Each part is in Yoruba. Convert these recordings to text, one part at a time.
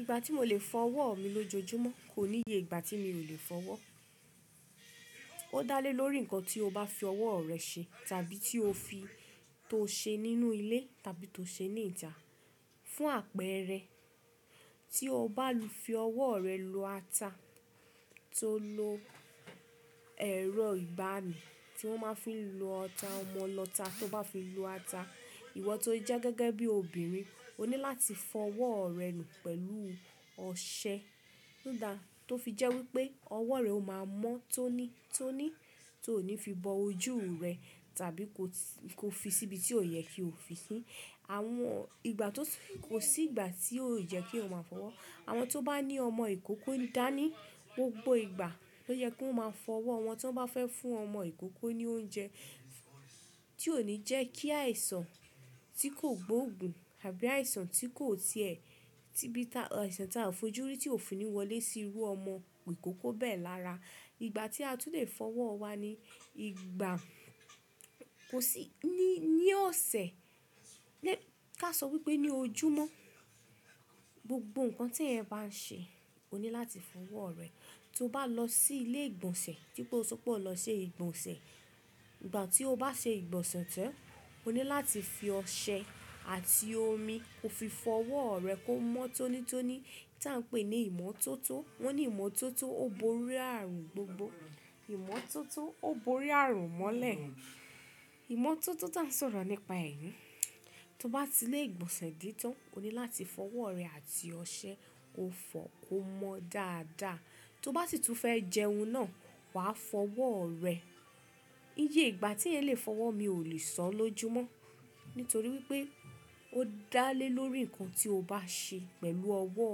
Ìgbà tí mo lè fọ ọwọ́ mi lójoojúmọ́ kò níye ìgbà tí mi ò lè fọ ọwọ́. Ó dá lé lórí ǹkan tí o bá fi ọwọ́ rẹ ṣe tàbí tí o fi, to ṣe nínú ilé tàbí to ṣe ní ìta. Fún àpẹẹrẹ, tí o bá lo fi ọwọ́ rẹ lo ata to lo ẹ̀rọ ìgbani tí wón máa ń fi lo ọta, ọmọ ọta tó bá fi lo ata, ìwọ tó jẹ́ gẹ́gẹ́ bí obìnrin o ní láti fọ ọwọ́ rẹ nù pẹ̀lú ọṣẹ. Nígbà tó fi jẹ́ wípé ọwọ́ rẹ ó máa mọ́ tónítóní tó ò ní fi bọ ojú rẹ tàbí ko fi síbi tí ó yẹ kí o fi sí. Àwọn ìgbà tó kò sí ìgbà tí ó yẹ kí o máa fọ wọ́. Àwọn tó bá ní ọmọ ìkókó dá ní gbogbo ìgbà lo yẹ kó máa fọ ọwọ́ wọn tí wọ́n bá fẹ́ fún ọmọ ìkókó ní oúnjẹ. Tí ó ní jẹ́ kí àìsàn tí kò gbóògùn tàbí àìsàn tí kò ti ẹ̀, tí bí àìsàn tá a fojú rí tí òfin ò ní wọlé sí irú ọmọ ìkókó bẹ́ẹ̀ lara. Ìgbà tí a tún lè fọ ọwọ́ wa ni ìgbà, kò sí ní, ní ọ̀sẹ̀ lé, ká sọ wípé ní ojúmọ́. Gbogbo ǹkan tí ẹ̀ bá ń ṣe o ní láti fọ ọwọ́ rẹ. Tí o bá lọ sí ilé ìgbọ̀nsẹ̀, bí pé o sọpé o lọ ṣe ìgbọ̀nsẹ̀. Ìgbà tí o bá ṣe ìgbọ̀nsẹ̀ tán o ní láti fi ọṣẹ àti omi ko fi fọ ọwọ́ rẹ kó mọ́ tónítóní tí à ń pè ní ìmọ́tótó. Wọ́n ní ìmọ́tótó ó borí ààrùn gbogbo. Ìmọ́tótó ó borí ààrùn mọ́lẹ̀. Ìmọ́tótó tá a ń sọ̀rọ̀ nípa èyí. Tí o bá ti ilé ìgbọ̀nsẹ̀ dé tán, o ní láti fọ ọwọ́ rẹ àti ọṣẹ o fọ kó mọ́ dáadáa. Tí o bá sì tún fẹ́ jẹun náà wàá fọ ọwọ́ rẹ. Iye ìgbà tí ẹ̀ lè fọ ọwọ́ mi ò lè sọ ó ló'ojúmọ́. Nítorí wípé ó dá lé lórí ǹkan tí o bá ṣe pẹ̀lú ọwọ́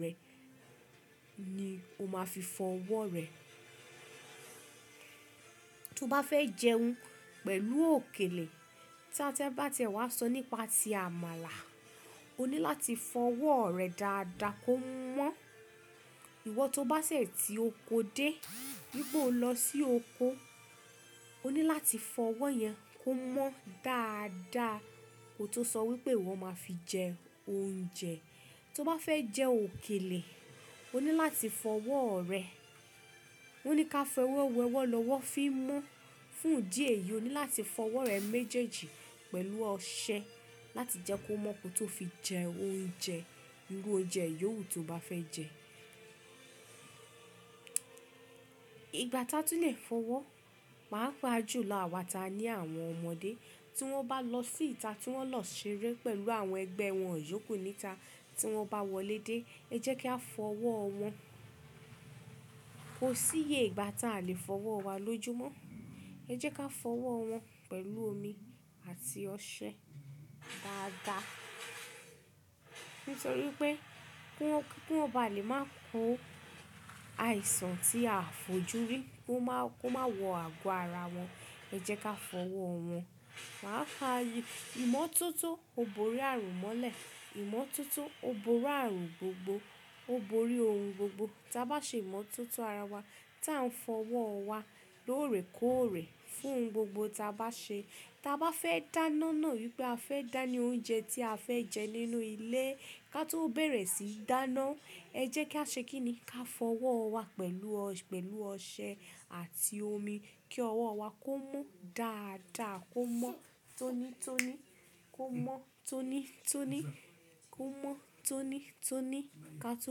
rẹ ni o máa fi fọ ọwọ́ rẹ. Tí o bá fẹ́ jẹun pẹ̀lú òkèlè, tí à ti ẹ̀ wa sọ nípa ti àmàlà, o ní láti fọ ọwọ́ rẹ dáadáa kó mọ́. Ìwọ tó bá sẹ̀ tí o kó dé, bí pé o lọ sí oko, o ní láti fọ ọwọ́ yẹn kó mọ́ dáadáa. Kò tó sọ wípé wọ́n máa fi jẹ oúnjẹ. Tí o bá fẹ́ jẹ òkèlè o ní láti fọ ọwọ́ rẹ. Wọ́n ní ká fọ ẹwà ọwọ́ lọ́wọ́ fi mo, fún idí ehi, o ní láti fọ ọwọ́ rẹ méjèèjì pẹ̀lú ọṣẹ láti jẹ́ kó mọ́ ko tó fi jẹ oúnjẹ. Irú oúnjẹ yòwú tí o bá fẹ́ jẹ. Ìgbà tá a tún lè fọ ọwọ́, màá pa á jù lọ wà táa ní àwọn ọmọdé. Tí wọ́n bá lọ sí ìta, tí wọ́n lọ ṣeré pẹ̀lú àwọn ẹgbẹ́ wọn, yòókù ní ìta. Tí wọ́n bá wọlé dé, ẹ jẹ́ ká fọ ọwọ́ wọn. Kò sí iye ìgbà tá a lè fọ ọwọ́ wa ló'ojúmọ́. Ẹ jẹ́ ká fọ ọwọ́ wọn pẹ̀lú omi àti ọṣẹ dáadáa. Nítorí pé kí wọ́n, kí wọ́n bá lè máa kó àìsàn tí a fojúrí kó máa, kó máa wọ àgọ́ ara wọn. Ẹ jẹ́ ká fọ ọwọ́ wọn. Màá fáa yí ìmọ́tótó ó borí ààrùn mọ́lẹ̀, ìmọ́tótó ó borí ààrùn gbogbo, ó borí ohun gbogbo. Tí a bá ṣe ìmọ́tótó ara wa tí à ń fọ ọwọ́ wa lóòrèkóòrè fún gbogbo tí a bá ṣe. Tí a bá fẹ́ dáná náà wípé a fẹ́ dání oúnjẹ tí a fẹ́ jẹ nínú ilé ká tó bẹ̀rẹ̀ síi dáná, ẹ jẹ́ ká ṣe kín ní ká fọ ọwọ́ wa pẹ̀lú ọ, pẹ̀lú ọṣẹ àti omi kí ọwọ́ wá kó mọ́ dáadáa kó mọ́ tónítóní, kó mọ́ tónítóní, kó mọ́ tónítóní ká tó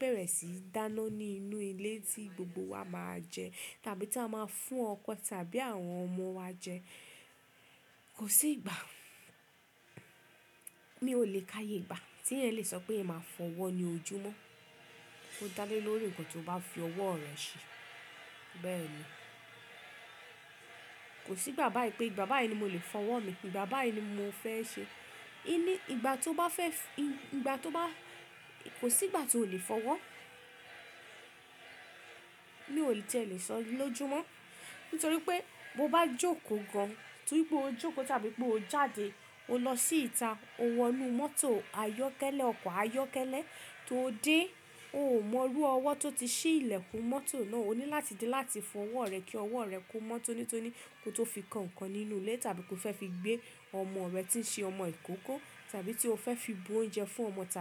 bẹ̀rẹ̀ síí dáná ní inú ilé tí gbogbo wa máa jẹ tàbí tí a máa fún ọkọ tàbí àwọn ọmọ wa jẹ. Kò sí ìgbà, mi ò lè ká ye ìgbà tí ẹ̀ lè sọ pé ẹ̀ máa fọ ọwọ́ ni ojúmọ́. Ó dá lé lórí ǹkan tí o bá fi ọwọ́ rẹ ṣe. Bẹ́ẹ̀ ni. Kò sí ìgbà báàyi pé ìgbà báàyí ni mo lè fọ ọwọ́ mi, ìgbà báàyi ni mo fẹ́ ṣe. Í ni ìgbà tí o bá fẹ́, ìgbà tí o bá, kò sí ìgbà tí o lè fọ ọwọ́. Mi ò lè tí è lè sọ ló'ojúmọ́. Nítorí pé bó bá jókòó gan, torí pé o jókòó tàbí pé o jáde o lọ sí ìta, o wọ inú mọ́tò ayọ́kẹ́lẹ́, ọkọ̀ ayọ́kẹ́lẹ́ tó dé o ò mọrú ọwọ́ tó ti ṣí ilẹ̀kùn mọ́tò náà, o ní láti dé láti fọ ọwọ́ rẹ kí ọwọ́ rẹ kó mọ́ tónítóní kó tó fi kan ǹkan nínú ilé tàbí kó fẹ́ fi gbé ọmọ rẹ tí ń ṣe ọmọ ìkókó tàbí tí o fẹ́ fi bu oúnjẹ fún ọmọ táa.